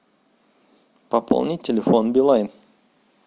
пополни телефон билайн